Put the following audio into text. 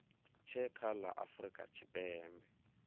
tshe kha la afurika tshipembe